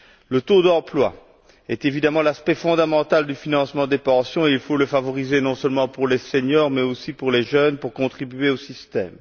Le taux d'emploi est évidemment l'aspect fondamental du financement des pensions et il faut le favoriser, non seulement pour les seniors, mais aussi pour les jeunes, afin qu'ils contribuent au système.